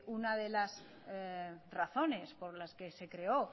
una de las razones por las que se creo